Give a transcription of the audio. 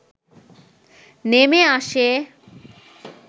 নেমে আসে